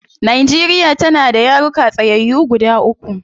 Nigeria tana da yaruka tsayyayu guda uku